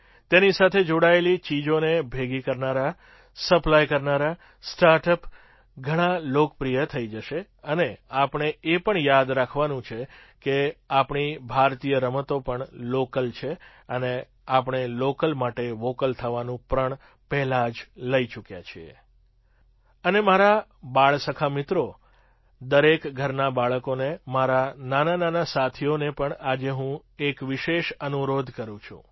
તેની સાથે જોડાયેલી ચીજોને ભેગી કરનારા સપ્લાય કરનારા સ્ટાર્ટ અપ ઘણા લોકપ્રિય થઈ જશે અને આપણે એ પણ યાદ રાખવાનું છે કે આપણી ભારતીય રમતો પણ લૉકલ છે અને આપણે લૉકલ માટે વૉકલ થવાનું પ્રણ પહેલાં જ લઈ ચૂક્યા છે અને મારા બાળસખા મિત્રો દરેક ઘરનાં બાળકોને મારા નાના સાથીઓને પણ આજે હું એક વિશેષ અનુરોધ કરું છું